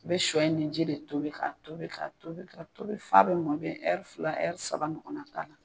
I bɛ shɔ in ni ji de tobi ka tobi ka tobi ka tobi f'a bɛ mɔn i bɛ fila saba ɲɔgɔn na k'a la.